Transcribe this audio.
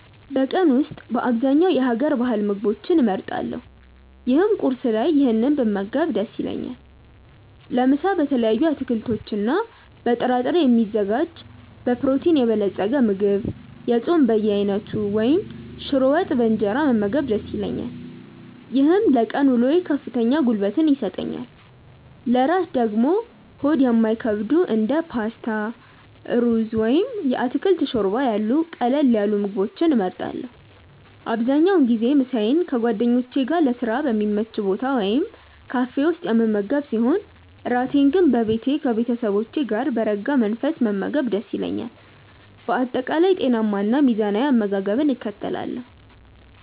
በቀን ውስጥ በአብዛኛው የሀገር ባህል ምግቦችን እመርጣለሁ ይህም ቁርስ ላይ ይህንን ብመገብ ደስ ይለኛል። ለምሳ በተለያዩ አትክልቶችና በጥራጥሬ የሚዘጋጅ በፕሮቲን የበለፀገ ምግብ፣ የጾም በየአይነቱ ወይም ሽሮ ወጥ በእንጀራ መመገብ ደስ ይለኛል። ይህም ለቀን ውሎዬ ከፍተኛ ጉልበት ይሰጠኛል። ለእራት ደግሞ ሆድ የማይከብዱ እንደ ፓስታ፣ ሩዝ ወይም የአትክልት ሾርባ ያሉ ቀለል ያሉ ምግቦችን እመርጣለሁ። አብዛኛውን ጊዜ ምሳዬን ከጓደኞቼ ጋር ለስራ በሚመች ቦታ ወይም ካፌ ውስጥ የምመገብ ሲሆን፣ እራቴን ግን በቤቴ ከቤተሰቦቼ ጋር በረጋ መንፈስ መመገብ ደስ ይለኛል። በአጠቃላይ ጤናማና ሚዛናዊ አመጋገብን እከተላለሁ።